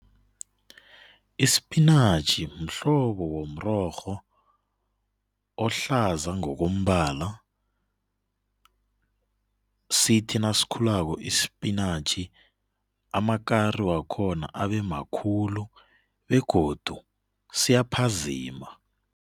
Ispinatjhi mhlobo womrorho ohlaza ngokombala. Sithi nasikhulako ispinatjhi amakari wakhona abemakhulu begodu siyaphazima.